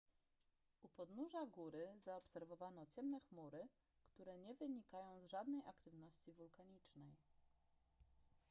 u podnóża góry zaobserwowano ciemne chmury które nie wynikają z żadnej aktywności wulkanicznej